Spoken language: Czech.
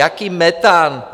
Jaký metan?